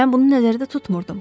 Mən bunu nəzərdə tutmuram.